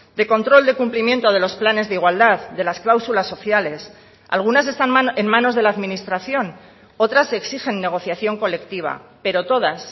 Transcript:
de control de cumplimiento de los planes de igualdad de las cláusulas sociales algunas están en manos de la administración otras exigen negociación colectiva pero todas